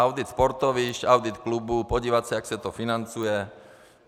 Audit sportovišť, audit klubů, podívat se, jak se to financuje.